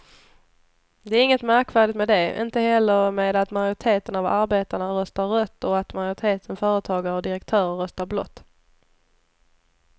Det är inget märkvärdigt med det, inte heller med att majoriteten av arbetarna röstar rött och att majoriteten företagare och direktörer röstar blått.